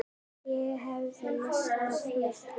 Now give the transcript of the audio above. Ég hefði misst af miklu.